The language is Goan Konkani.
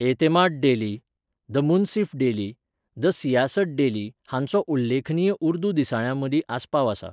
Etemaad daily, the Munsif daily, the Siasat daily हांचो उल्लेखनीय उर्दू दिसाळ्यां मदीं आसपाव आसा.